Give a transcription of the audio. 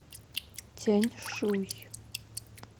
тяньшуй